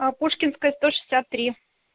а пушкинская сто шестьдесят три